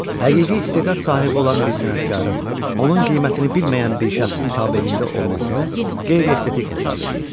Həqiqi istedad sahibi olan bir sənətkarın, onun qiymətini bilməyən bir şəxsin tabeliyində olmasını qeyri-estetik hesab eləyir.